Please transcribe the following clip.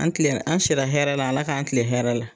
An tilen, an si la hɛrɛ la Ala k'an kilen hɛrɛ la.